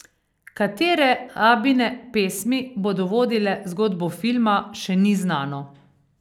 Katere Abbine pesmi bodo vodile zgodbo filma, še ni znano.